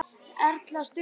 Erla: Stutt í land?